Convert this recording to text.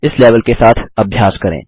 इस लेवल के साथ अभ्यास करें